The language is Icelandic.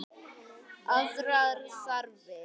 Aðrar þarfir.